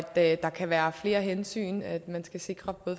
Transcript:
at der kan være flere hensyn at at man skal sikre